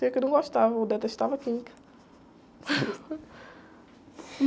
Tinha a que eu não gostava, eu detestava química.